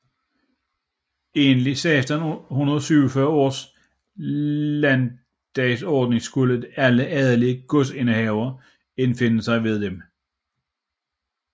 Enligt 1647 års landtdagsordning skulle alle adelige godsindehavere indfinde sig ved dem